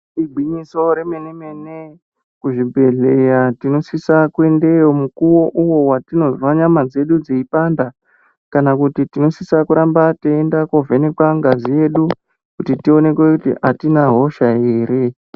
Igwinyiso remene mene kuzvibhedhlera tinosisa kuendeyo mukuwo uyo watinozwa nyama dzedu dzeipanda kana kuti tinosisa kuramba teinda kovhenekwa ngazi yedu kuti tionekwe kuti atina hosha ere.